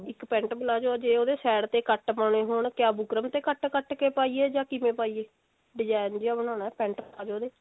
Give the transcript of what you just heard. ਇੱਕ pent palazzo ਜੇ ਉਹਦੇ side ਤੇ cut ਪਾਨੇ ਹੋਣ ਕਿਆ ਬੂਕਰਮ ਤੇ cut cut ਕੇ ਪਾਈਏ ਜਾ ਕਿਵੇਂ ਪਾਈਏ ਡਿਜਾਇਨ ਜਿਹਾ ਬਣਾਉਣਾ pent palazzo ਤੇ